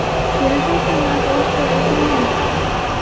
Kelishuv qiymati oshkor etilmayapti.